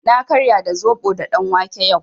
Na karya da zaɓo da ɗanwake yau.